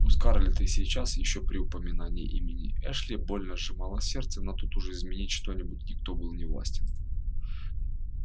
у скарлетт и сейчас ещё при упоминании имени эшли больно сжималось сердце но тут уж изменить что-нибудь никто был не властен